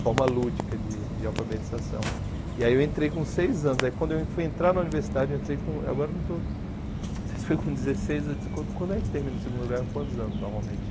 forma lúdica de de alfabetização, e aí eu entrei com seis anos, aí quando eu fui entrar na universidade, eu entrei com, agora não estou, não sei se foi com dezesseis, quando quando é que termina o segundo grau, quantos anos normalmente?